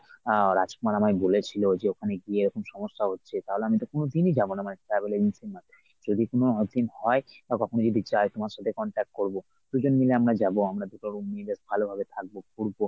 আহ রাজকুমার আমায় বলেছিল ঐ যে ওখানে গিয়ে ওরকম সমস্যা হচ্ছে । তাহলে আমি এটা কোনোদিনই যাব না মানে travel agencyর মাধ্যমে। যদি কোনো urgent হয় বা কখনো যদি যাই তোমার সাথে contact করবো দুজন মিলে আমরা যাব আমরা দু’টো room নিয়ে just ভালোভাবে থাকব ঘুরব।